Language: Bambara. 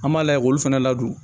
An b'a lajɛ olu fana ladon